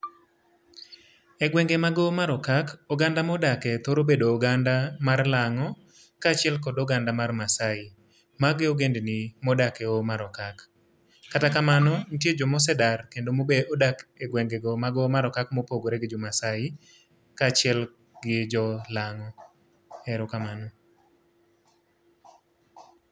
Egwenge mag Hoho mar Okal oganda modakie thoro bedo oganda mar Lang'o, kaachiel kod oganda mar Maasai magi ogendni modak e Hoho mar Okak. Kata kamano nitie joma osedar kendo modak e gwengego magHoho mar Okak mopogore gi jo Maasai kaachiel gi jo Lang'o. Erokamano.